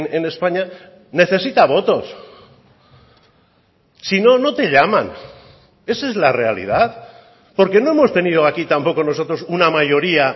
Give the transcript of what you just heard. en españa necesita votos sino no te llaman esa es la realidad porque no hemos tenido aquí tampoco nosotros una mayoría